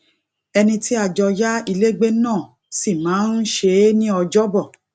ẹnì tí a jọ yá ilé gbé náà sì máa ń ṣe é ní ọjọ bọ